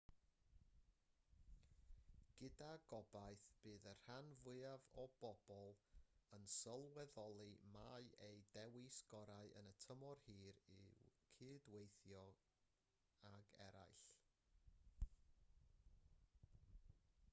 gyda gobaith bydd y rhan fwyaf o bobl yn sylweddoli mai eu dewis gorau yn y tymor hir yw cydweithio ag eraill